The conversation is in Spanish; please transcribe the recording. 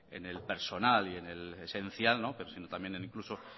en el personal y en el esencial pero sino también incluso